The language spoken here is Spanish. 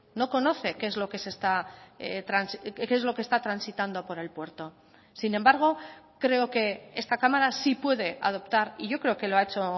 no conoce qué es lo que se está qué es lo que esta transitando por el puerto sin embargo creo que esta cámara sí puede adoptar y yo creo que lo ha hecho